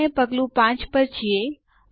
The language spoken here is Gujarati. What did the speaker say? આપણે પગલું 5 પર છીએ